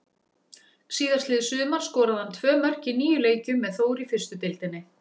Síðastliðið sumar skoraði hann tvö mörk í níu leikjum með Þór í fyrstu deildinni.